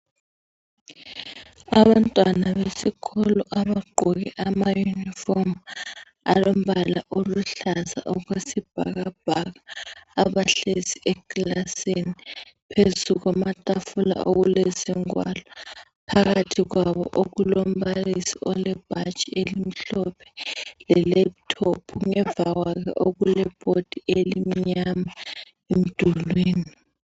Abantwana besikolo abagqoke ama yunifomu alombala oluhlaza okwesibhakabhaka , abahlezi ekilasini, phezu kwamatafula okulezingwalo, phakathi kwabo okulombalisi olebhatshi elimhlophe le lephuthophu ,emva kwalo okulebhodi elimnyama emdulwini.